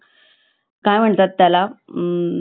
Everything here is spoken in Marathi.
काय म्हणतात त्याला हंम्म